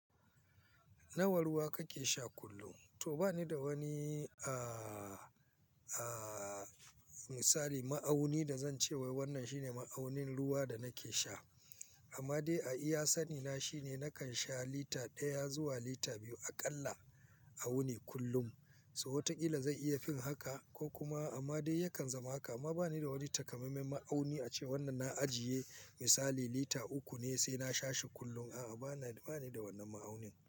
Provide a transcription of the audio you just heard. Nawa ruwa kake sha kullum? To ba ni da wani, aaaa, misali, ma'auni da zan ce wai wannan shine ma'aunin ruwa da nake sha. Amma dai a iya sani na shine nakan sha lita ɗaya zuwa lita biyu a ƙalla a wuni kullum. So watakila zai iya fin haka ko kuma amma dai yakan zama haka. Amma ba ni da wani takamaimen ma'auni ace wannan na ajiye misali lita uku ne sai na sha shi kullun. A'a, bana ba ni da wannan ma'aunin.